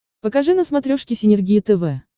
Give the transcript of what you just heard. покажи на смотрешке синергия тв